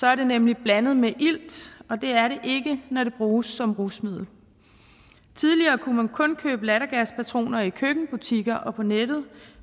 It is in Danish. er det nemlig blandet med ilt og det er det ikke når det bruges som rusmiddel tidligere kunne man kun købe lattergaspatroner i køkkenbutikker og på nettet